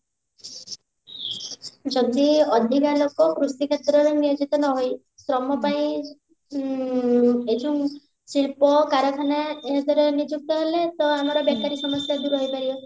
ଯଦି ଅଧିକା ଲୋକ କୃଷି କ୍ଷେତ୍ରରେ ନିୟୋଜିତ ନ ହୋଇ ଶ୍ରମ ପାଇଁ ଉଁ ଏଇ ଯଉଁ ଶିଳ୍ପ କାରଖାନା ଏଇଥିରେ ନିଯୁକ୍ତ ହେଲେ ତ ଆମର ବେକାରି ସମସ୍ୟା ଦୂର ହେଇପାରିବ